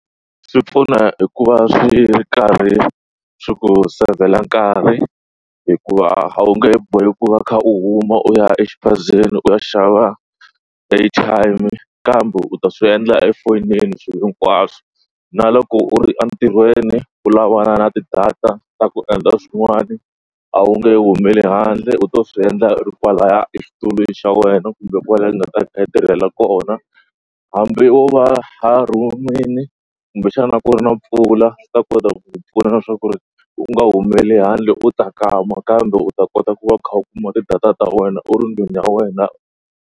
Swi pfuna hikuva swi ri karhi swi ku save-la nkarhi hikuva a wu nge he boheki ku va u kha u huma u ya exiphazeni u ya xava airtime kambe u ta swi endla efonini swilo hinkwaswo na loko u ri entirhweni u lavana na ti-data ta ku endla swin'wani a wu nge humeleli handle u to swi endla ri kwalaya exitulweni xa wena kumbe kwalaya u nga ta ku tirhela kona hambi wo va a ron'wini kumbexana ku ri na mpfula swi ta kota ku pfuna na leswaku ri u nga humeleli handle u tsakama nakambe u ta kota ku va u kha u kuma tidata ta wena u ri ndlwini ya wena.